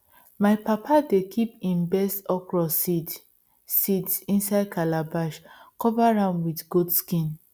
my papa dey kip him best okro seeds seeds inside calabash cover am wit goat skin